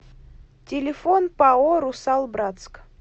телефон пао русал братск